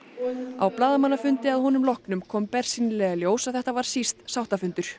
á blaðamannafundi að honum loknum kom bersýnilega í ljós að þetta var síst sáttafundur